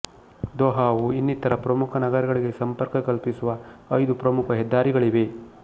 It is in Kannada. ದೊಹಾವು ಇನ್ನಿತರ ಪ್ರಮುಖ ನಗರಗಳಿಗೆ ಸಂಪರ್ಕ ಕಲ್ಪಿಸಲು ಐದು ಪ್ರಮುಖ ಹೆದ್ದಾರಿಗಳಿವೆ